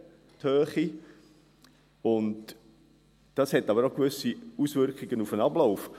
Dies hat aber auch gewisse Auswirkungen auf den Ablauf.